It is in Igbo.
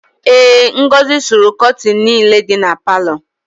Ee, Ngọzị sụrụ kọtịnị niile dị na palọ.